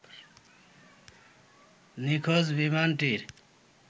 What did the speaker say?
নিখোঁজ বিমানটির